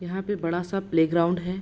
यहाँ पे बड़ा-सा प्लेग्राउंड है।